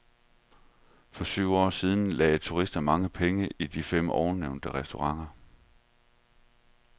For syv år siden lagde turisterne mange penge i de fem ovennævnte restauranter.